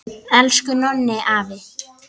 Elsku Nonni afi!